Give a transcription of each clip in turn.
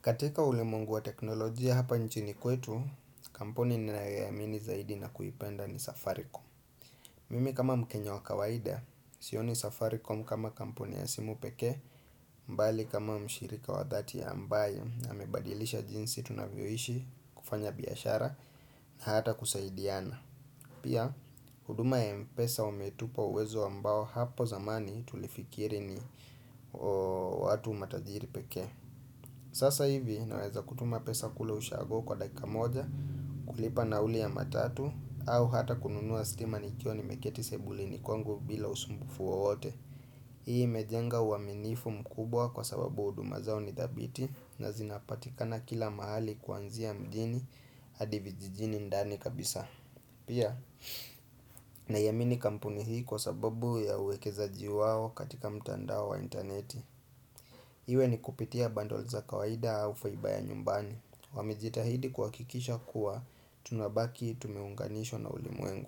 Katika ule mungu wa teknolojia hapa nchini kwetu, kampuni ni nayoamini zaidi na kuipenda ni safaricom. Mimi kama mkenya wa kawaida, sioni safaricom kama kampuni ya simu peke, mbali kama mshirika wa dhati ya ambaye amebadilisha jinsi tunavyoishi kufanya biashara na hata kusaidiana. Pia, huduma ya mpesa umetupa uwezo ambao hapo zamani tulifikiri ni watu matajiri peke. Sasa hivi naweza kutuma pesa kule ushago kwa dakika moja kulipa nauli ya matatu au hata kununuwa stima nikyo ni meketi sebuli ni kwangu bila usumbufu wowote. Hii mejenga uaminifu mkubwa kwa sababu huduma zao ni dhabiti na zinapatikana kila mahali kuanzia mdini adivijijini ndani kabisa. Pia na yamini kampuni hii kwa sababu ya uwekeza jiwao katika mtandao wa interneti. Iwe ni kupitia bandol za kawaida au faibaya nyumbani Wamejitahidi kuhakikisha kuwa tunabaki tumiunganisho na ulimuengu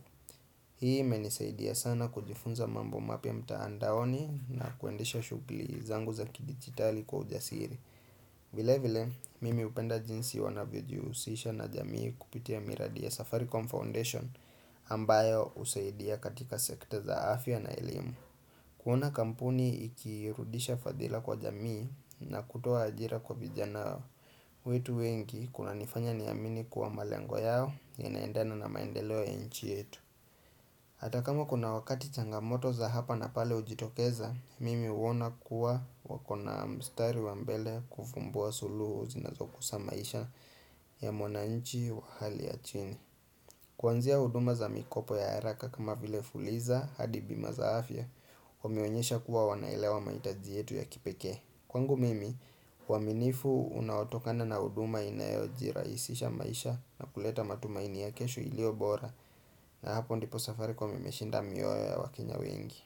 Hii menisaidia sana kujifunza mambo mapya mtaandaoni na kuendesha shuguli zangu za kidigitali kwa ujasiri vile vile, mimi upenda jinsi wanavyojiusisha na jamii kupitia miradi ya Safaricom Foundation ambayo usaidia katika sekta za afya na elimu kuona kampuni ikiirudisha fadhila kwa jamii na kutoa ajira kwa vijanao. Wetu wengi kuna nifanya niamini kuwa malengo yao ya naendana na maendeleo ya nchi yetu. Atakama kuna wakati changamoto za hapa na pale ujitokeza, mimi uona kuwa wakona mstari wambele kufumbua suluhu zinazo kusamaisha ya mwana nchi wa hali ya chini. Kwanzia huduma za mikopo ya haraka kama vile fuliza hadi bima zaafya Wameonyesha kuwa wanaelewa maitaji yetu ya kipeke Kwangu mimi, waminifu unaotokana na huduma inayo jiraisisha maisha na kuleta matumaini ya kesho ilio bora na hapo ndipo safaricom imeshinda mioyo ya wakenya wengi.